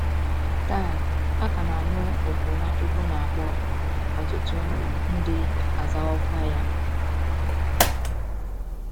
Taa, a ka na - anụ òkù Nwachukwu na - akpọ, ọtụtụ ndị azawokwa ya.